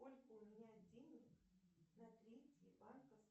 сколько у меня денег на третьей банковской